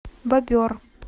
бобер